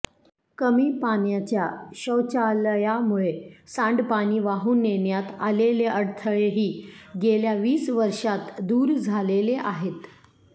कमी पाण्याच्या शौचालयामुळे सांडपाणी वाहून नेण्यात आलेले अडथळेही गेल्या वीस वर्षांत दूर झालेले आहेत